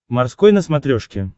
морской на смотрешке